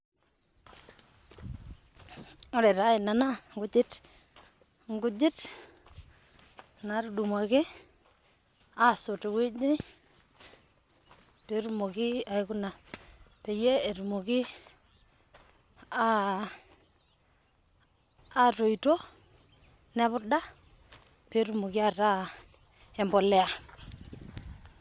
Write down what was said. Ore taa ena naa inkujit naatudumuaki aasot tewueji pryie etumoki aatoito nepuda pee etumoki aataa embolea.